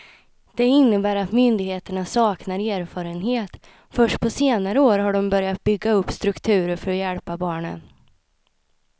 Det innebär att myndigheterna saknar erfarenhet, först på senare år har de börjat bygga upp strukturer för att hjälpa barnen.